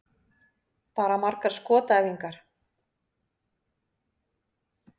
Bara margar skotæfingar.